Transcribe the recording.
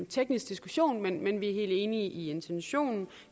teknisk diskussion men vi er helt enige i intentionen